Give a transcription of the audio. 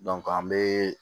an bɛ